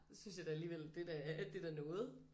Det synes jeg da alligevel det er da det er da noget